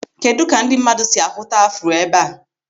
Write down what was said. Kedụ ka ndị mmadụ si ahụta afro ebe a?